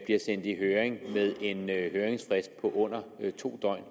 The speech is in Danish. bliver sendt i høring med en høringsfrist på under to døgn